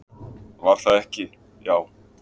"""Var það ekki, já!"""